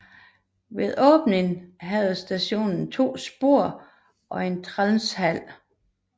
Ved åbningen havde stationen to spor og en transversal